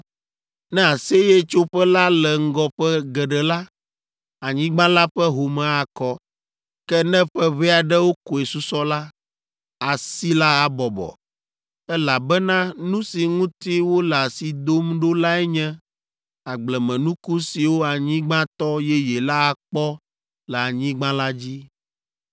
Ne Aseyetsoƒe la le ŋgɔ ƒe geɖe la, anyigba la ƒe home akɔ. Ke ne ƒe ʋɛ aɖewo koe susɔ la, asi la abɔbɔ, elabena nu si ŋuti wole asi dom ɖo lae nye agblemenuku siwo anyigbatɔ yeye la akpɔ le anyigba la dzi.